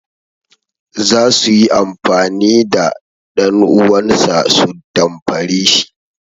Za su yi amfani da ɗanuwansa su damfare shi.